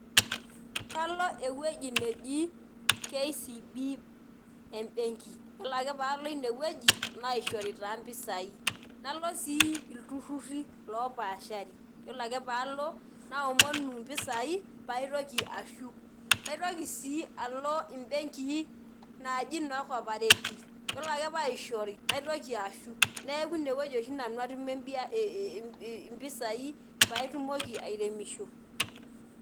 Kalo ewueji neji KCB ebenki. Yiolo ake palo inewueji, naishori taa mpisai. Nalo si ilturrurri lopaashari. Yiolo ake palo, naomonu impisai, paitoki ashuk. Naitoki si alo ibenkii naji noo Corperative. Yiolo ake paishori, naitoki ashuk. Neeku inewueji oshi nanu atumie impisai patumoki airemisho.